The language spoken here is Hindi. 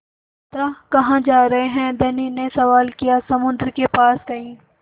यात्रा कहाँ जा रहे हैं धनी ने सवाल किया समुद्र के पास कहीं